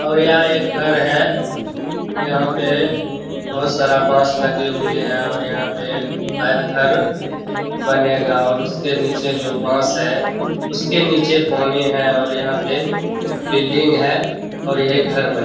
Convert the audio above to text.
और यहां एक घर है। यहां पे बहुत सारा बांस लगे हुए है और यहां पे शायद घर बनेगा और उसके नीचे जो बांस है। उसके नीचे पानी है और यहां पे बिल्डिंग है और यही घर बनेगा --